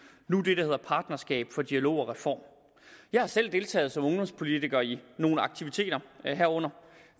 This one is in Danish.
nu det der hedder partnerskab for dialog og reform jeg har selv deltaget som ungdomspolitiker i nogle aktiviteter herunder